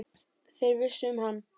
Þeir vissu um hann.